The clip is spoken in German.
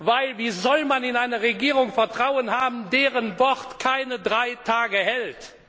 Denn wie soll man in eine Regierung Vertrauen haben, deren Wort keine drei Tage hält?